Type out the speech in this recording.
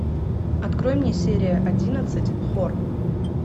открой мне серия одиннадцать хор